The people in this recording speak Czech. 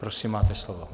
Prosím, máte slovo.